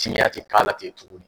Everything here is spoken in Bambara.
Cinya tɛ k'a la ten tugun.